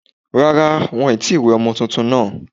Rárá, won tí wẹ ọmọ túntún náà